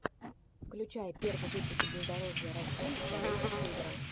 включай первый выпуск бездорожья россии дороги севера